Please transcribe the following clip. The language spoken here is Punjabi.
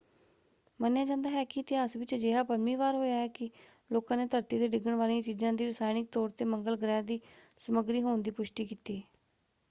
ਮੰਨਿਆ ਜਾਂਦਾ ਹੈ ਕਿ ਇਤਿਹਾਸ ਵਿੱਚ ਅਜਿਹਾ ਪੰਜਵੀਂ ਵਾਰ ਹੋਇਆ ਕਿ ਲੋਕਾਂ ਨੇ ਧਰਤੀ 'ਤੇ ਡਿੱਗਣ ਵਾਲੀਆਂ ਚੀਜਾਂ ਦੀ ਰਸਾਇਣਿਕ ਤੌਰ 'ਤੇ ਮੰਗਲ ਗ੍ਰਹਿ ਦੀ ਸਮੱਗਰੀ ਹੋਣ ਦੀ ਪੁਸ਼ਟੀ ਕੀਤੀ।